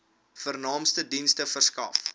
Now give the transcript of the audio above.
vernaamste dienste verskaf